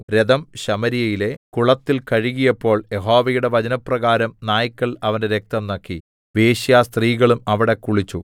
രഥം ശമര്യയിലെ കുളത്തിൽ കഴുകിയപ്പോൾ യഹോവയുടെ വചനപ്രകാരം നായ്ക്കൾ അവന്റെ രക്തം നക്കി വേശ്യാസ്ത്രീകളും അവിടെ കുളിച്ചു